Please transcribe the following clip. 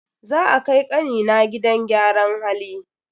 Za a kai kanina gidan gyaran hali.